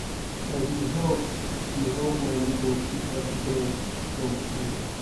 i dey help dey help my nebor pick her children from skool